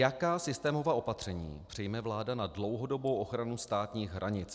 Jaká systémová opatření přijme vláda na dlouhodobou ochranu státních hranic?